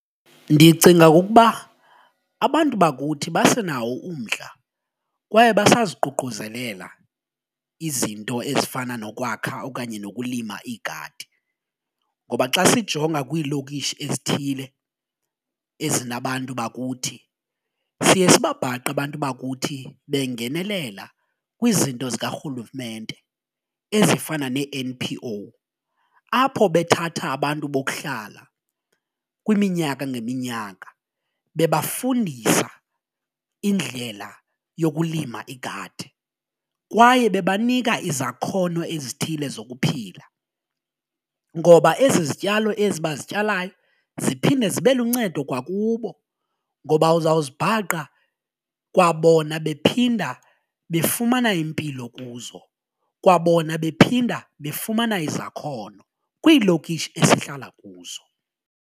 Ndicinga okokuba abantu bakuthi basenawo umdla kwaye basaziququzelela izinto ezifana nokwakha okanye nokulima iigadi ngoba xa sijonga kwiilokishi ezithile ezinabantu bakuthi siye sibabhaqe abantu bakuthi bengenelela kwizinto zikarhulumente ezifana nee-N_P_O apho bethatha abantu bokuhlala kwiminyaka ngeminyaka bebafundisa indlela yokulima igadi, kwaye bebanika izakhono ezithile zokuphila ngoba ezi zityalo ezi abazityalayo ziphinde zibe luncedo kwakubo ngoba uzawuzibhaqa kwabona bephinda befumana impilo kuzo, kwabona bephinda befumana izakhono kwiilokishi esihlala kuzo.